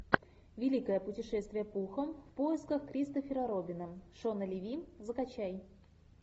великое путешествие пуха в поисках кристофера робина шона леви закачай